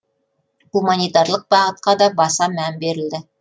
гуманитарлық бағытқа да баса мән берілді